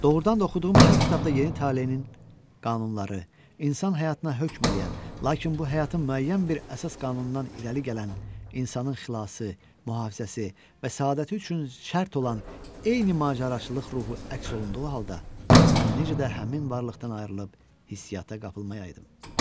Doğrudan da oxuduğum hər kitabda yeni taleyinin qanunları, insan həyatına hökm eləyən, lakin bu həyatın müəyyən bir əsas qanunundan irəli gələn insanın xilası, mühafizəsi və səadəti üçün şərt olan eyni macəraçılıq ruhu əks olunduğu halda, mən necə də həmin varlıqdan ayrılıb hissiyyata qapılmayaydım.